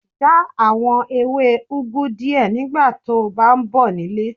Já àwọn ewé úgu díẹ̀ nígbà to bá ń bọ̀ nílé.